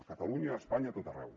a catalunya a espanya a tot arreu